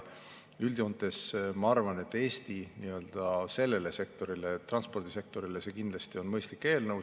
Üldjoontes ma arvan, et Eesti sellele sektorile, transpordisektorile on see kindlasti mõistlik eelnõu.